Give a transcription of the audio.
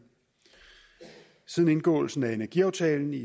siden indgåelsen af energiaftalen i